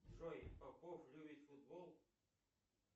джой попов любит футбол